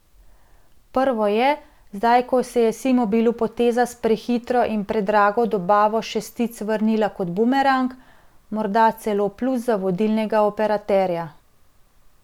Prvo je, zdaj ko se je Simobilu poteza s prehitro in predrago dobavo šestic vrnila kot bumerang, morda celo plus za vodilnega operaterja.